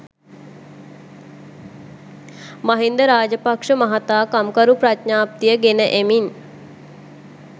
මහින්ද රාජපක්ෂ මහතා කම්කරු ප්‍රඥප්තිය ගෙන එමින්